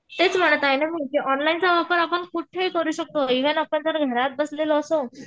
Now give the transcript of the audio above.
तेच म्हणत आहे ना मी की ऑनलाइनचा वापर आपण कुठेही करू शकतो इव्हन आपण जरी घरात बसलेलो असू